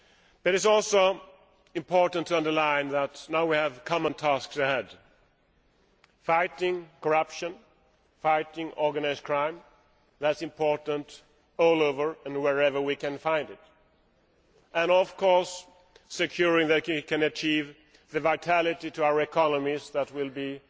It is also important to underline that now we have common tasks ahead fighting corruption and organised crime that is important everywhere, and wherever we find it and of course ensuring that we can achieve the vitality to our economies that will be